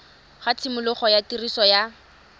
ga tshimologo ya tiriso ya